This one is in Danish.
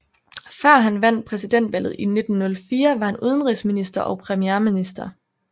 Før han vandt præsidentvalget i 1904 var han udenrigsminister og premierminister